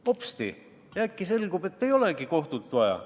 Hopsti äkki selgub, et ei olegi kohut vaja.